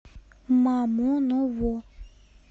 мамоново